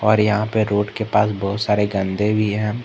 और यहां पे रोड के पास बहुत सारे गंदे भी हैं।